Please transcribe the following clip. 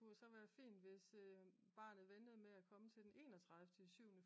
Det kunne jo så være fint hvis barnet ventede med at komme til den enogtredive i syvene